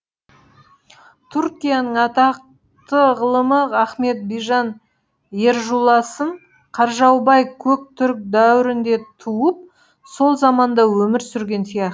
түркияның атақты ғылымы ахмет бижан ержуласын қаржаубай көк түрік дәуірінде туып сол заманда өмір сүрген сияқты